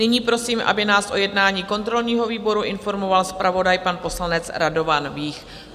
Nyní prosím, aby nás o jednání kontrolního výboru informoval zpravodaj, pan poslanec Radovan Vích.